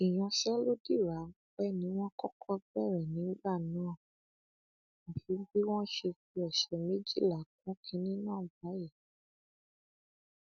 ìyanṣẹlódì ráńpẹ ni wọn kọkọ bẹrẹ nígbà náà àfi bí wọn tún ṣe fi ọsẹ méjìlá kún kinní náà báyìí